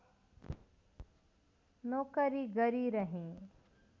नोकरी गरी रहेँ